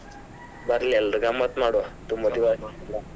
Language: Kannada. ಬರ್ಲಿ ಎಲ್ರು ಗಮ್ಮತ್ ಮಾಡುವ ತುಂಬಾ .